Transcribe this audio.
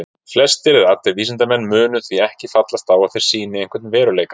Flestir eða allir vísindamenn munu því ekki fallast á að þær sýni einhvern veruleika.